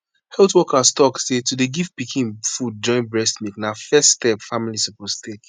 health workers talk say to dey give pikin food join breast milk na first step family suppose take